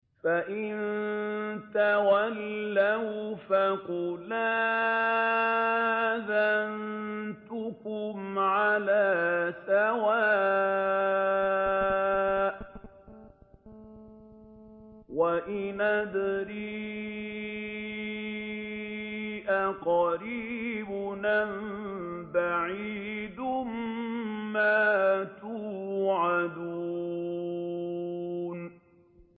فَإِن تَوَلَّوْا فَقُلْ آذَنتُكُمْ عَلَىٰ سَوَاءٍ ۖ وَإِنْ أَدْرِي أَقَرِيبٌ أَم بَعِيدٌ مَّا تُوعَدُونَ